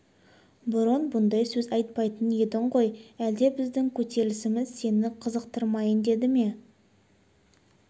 бұрын бұндай сөз айтпайтын едің ғой әлде біздің көтерілісіміз сені қызықтырмайын деді ме